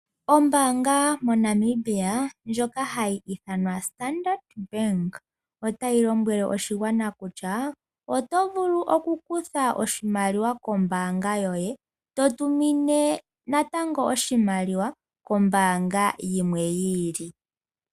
Ombaanga yomoNamibia ndjoka hayi ithanwa Standard Bank otayi lombwele oshigwana kutya oto vulu okukutha oshimaliwa kombaanga yoye nokutumina oshimaliwa kombaanga yilwe.